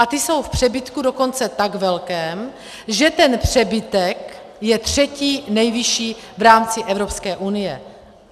A ty jsou v přebytku dokonce tak velkém, že ten přebytek je třetí nejvyšší v rámci Evropské unie.